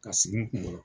Ka sigi n kunkolo